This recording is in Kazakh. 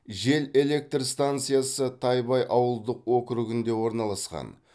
жел электр станциясы тайбай ауылдық округінде орналасқан